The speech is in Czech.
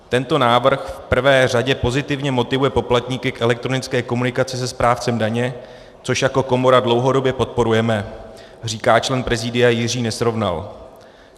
Tento návrh v prvé řadě pozitivně motivuje poplatníky k elektronické komunikaci se správcem daně, což jako komora dlouhodobě podporujeme," říká člen prezídia Jiří Nesrovnal.